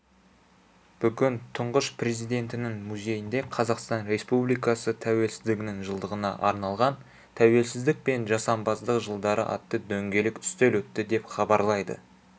бүгін тұңғыш президентінің музейінде қазақстан республикасы тәуелсіздігінің жылдығына арналған тәуелсіздік пен жасампаздық жылдары атты дөңгелек үстел өтті деп хабарлайды